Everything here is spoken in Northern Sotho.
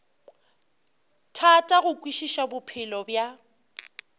thata go kwešiša bophelo bja